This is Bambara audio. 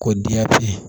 Ko diyati